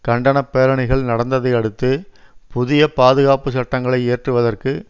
கண்டன பேரணிகள் நடந்ததை அடுத்து புதிய பாதுகாப்பு சட்டங்களை இயற்றுவதற்கு